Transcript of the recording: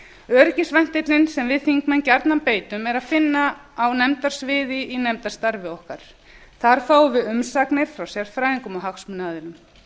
öryggisventillinn sem við þingmenn gjarnan beitum er að finna á nefndasviði í nefndarstarfi okkar þar fáum við umsagnir frá sérfræðingum og hagsmunaaðilum